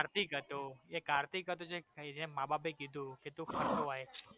કાર્તિક હતો એ કાર્તિક હતો જેને મા બાપે કીધુ કે તુ